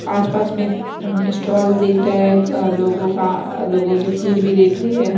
आसपास में अम् स्टॉल देख रहे है एक लोगों का। लोगों की भीड़ भी देख रही है।